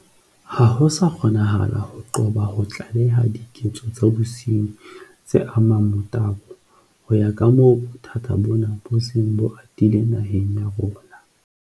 Ha ho sa kgonahala ho qoba ho tlaleha diketso tsa bosenyi tse amang motabo ho ya kamoo bothata bona bo seng bo atile naheng ya rona.